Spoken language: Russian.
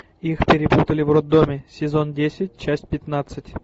их перепутали в роддоме сезон десять часть пятнадцать